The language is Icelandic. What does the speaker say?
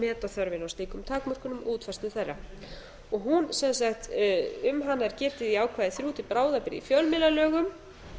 meta þörfina á slíkum takmörkunum og útfærslu þeirra um hana er gerið í ákvæða þriggja til bráðabirgða í fjölmiðlalögum